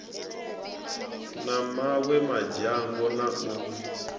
na mawe madzhango na u